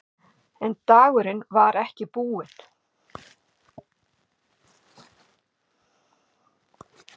En dagurinn var ekki búinn.